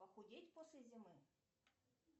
похудеть после зимы